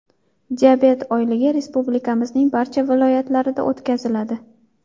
Diabet oyligi Respublikamizning barcha viloyatlarida o‘tkaziladi.